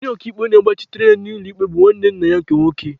Onye ọka iwu na-agbachitere ya n'ikpe ya bụ nwanne nna ya nke nwoke.